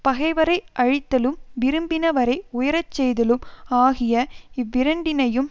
பகைவரை அழித்தலும் விரும்பினவரை உயரச் செய்தலும் ஆகிய இவ்விரண்டினையும்